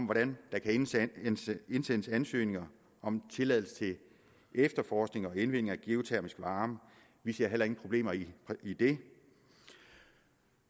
hvordan der kan indsendes indsendes ansøgninger om tilladelse til efterforskning og indvinding af geotermisk varme vi ser heller ingen problemer i i det